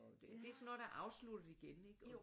Det sådan noget der afslutter igen ikke?